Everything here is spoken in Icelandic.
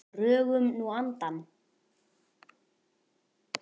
Drögum nú andann.